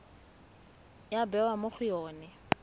ya bewa mo go yone